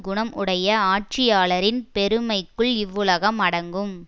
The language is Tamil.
குணம் உடைய ஆட்சியாளரின் பெருமைக்குள் இவ்வுலகம் அடங்கும்